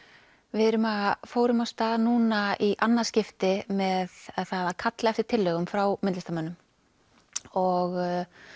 við fórum af stað núna í annað skipti með það að kalla eftir tillögum frá myndlistarmönnum og